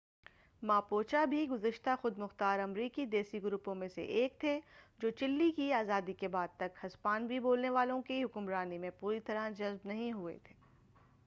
Mapuche بھی گزشتہ خودمختار امریکی دیسی گروپوں میں سے ایک تھے جو چلی کی آزادی کے بعد تک ہسپانوی بولنے والوں کی حکمرانی میں پوری طرح جذب نہیں ہوئے تھے